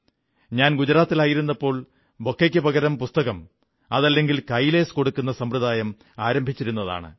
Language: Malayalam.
ഞാൻ ഗുജറാത്തിലായിരുന്നപ്പോൾ ബൊക്കെയ്ക്കു പകരം പുസ്തകം അതല്ലെങ്കിൽ കൈലേസ് കൊടുക്കുന്ന സമ്പ്രദായം ആരംഭിച്ചിരുന്നതാണ്